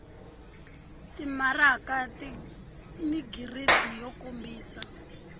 timaraka ni giridi yo kombisa